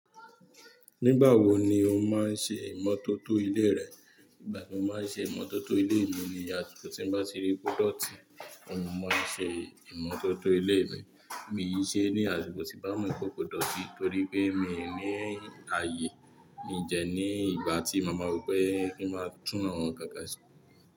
Nígbà wo ni o máa ń ṣe ìmọ́tótó ilé rẹ? Nígbà tí mo máa ń ṣe ìmọ́tótó ilé mi ni àsìkò tí ń bá ti rí pódọ̀tì, mo máa ń ṣe ìmọ́tótó ilé mi. Mì yí ṣe ní àsìkò tí bá mọ̀ pé kò dọ̀tí torí pé mi ò ní ààyè ní dẹ̀ ní ìgbà tí ma máa wò pé kí n máa tún àwọn ǹkan kan ṣe.